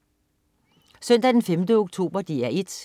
Søndag den 5. oktober - DR 1: